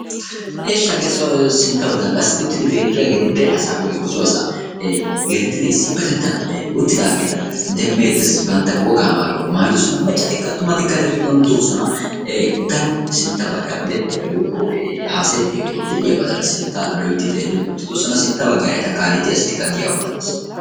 Ishshi hagee sintta baggan qassi uttidi beettiyageeti dere asaa woyikko so asaa geettettidi issippetettan uttidaageeta demmeettes bantta wogaa mayuwa mayidosona. Maccatikka attumatikka eta giddon doosona. Daro sintta baggaara odettiyabay woyikko haasayettiyabay de'iyabadansinttaa loyitti xeellidi uttidosona. Sintta baggaara eta kaalettiya asatikka diyabaa malates.